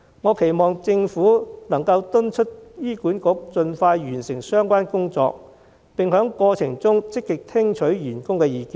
我期望政府能夠敦促醫管局盡快完成相關工作，並在過程中積極聽取員工的意見。